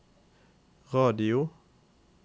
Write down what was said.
radio